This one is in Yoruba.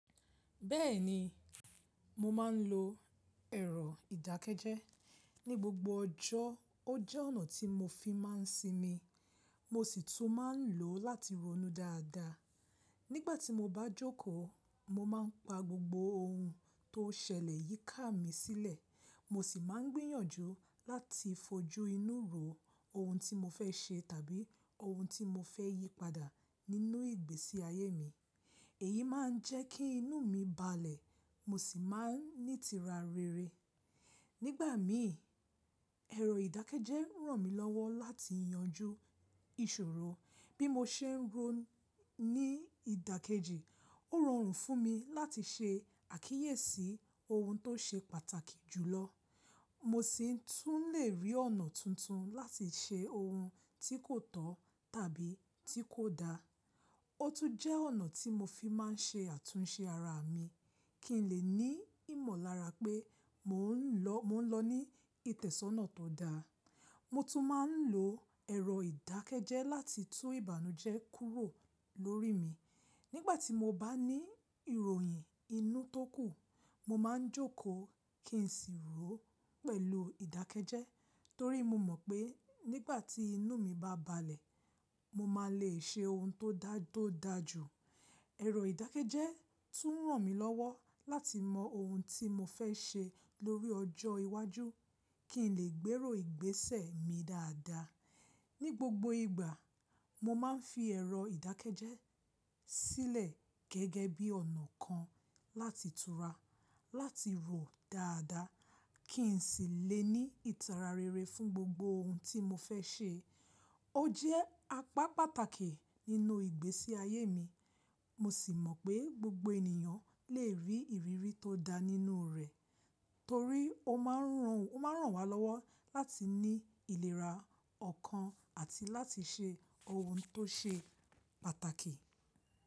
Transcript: Bẹ́ẹ̀ni, mo máa ń lo ẹ̀rọ ìdákẹ́jẹ́ ní gbogbo ọjọ́. Ó jẹ́ ọ̀nà tí mo fi máa ń sinmi, mo sì tún máa ń lò ó láti ronú dáadáa. Nígbà tí mo bá jókòó, mo máa ń pa gbogbo ohun tó ṣẹlẹ̀ yíká mi sílẹ̀. Mo sì máa ń gbìyànjú láti fojú inú ro ohun tí mo fẹ́ ṣe tàbí ohun tí mo fẹ́ yí padà nínú ìgbésí ayé mi. Èyí máa ń jẹ́ kí inú mi balẹ̀, mo sì máa ń ní ìtara rere. Nígbà mi, ẹ̀rọ ìdákẹ́jẹ́ ràn mí lọ́wọ́ láti yanjú ìṣòro. Bí mo ṣe ń ro ní ìdàkejì, ó rọrùn fún mi láti ṣe àkíyèsí ohun tó ṣe pàtàkì jùlọ. Mo sì tún lè rí ọ̀nà tuntun láti ṣe ohun tí kò tọ́ tàbí tí kò da. Ó tún jẹ́ ọ̀nà tí mo fi máa ń ṣe àtúnṣe ara mi kí n lè ní ìmọ̀lára pé mò ń lọ ní ìtẹ̀sọ́nà tó dáa. Mo tún máa ń lo ẹ̀rọ ìdákẹ́jẹ́ láti tú ìbànújẹ́ kúrò lórí mi. Nígbà tí mo bá ní ìròyìn inú tó kù, mo máa ń jókòó kí n sì rò ó pẹ̀lú ìdákẹ́jẹ́ torí mo mọ̀ pé nígbà tí inú mi bá balẹ̀, mo máa lè ṣe ohun tó dáa to dáa jù. Ẹ̀rọ ìdákẹ́jẹ́ tún ràn mí lọ́wọ́ láti mọ ohun tí mo fẹ́ ṣe lórí ọjọ́ iwájú kí n lè gbérò ìgbésẹ̀ mi dáadáa. Ní gbogbo ìgbà, mo máa ń fi ẹ̀rọ ìdákẹ́jẹ́ sílẹ̀ gẹ́gẹ́ bí ọ̀nà kan láti tura, láti rò dáadáa kí n sì lè ní ìtara rere fún gbogbo ohun tí mo fẹ́ ṣe. Ó jẹ́ apá pàtàkì nínú ìgbésí ayé mi. Mo sì mọ̀ pé gbogbo ènìyàn lè rí ìrírí tó da nínú rẹ̀ torí ó máa ń ràn wa lọ́wọ́ láti ní ìlera ọ̀kan àti láti ṣe ohun tó ṣe pàtàkì.